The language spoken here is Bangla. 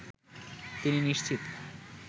তিনি নিশ্চিত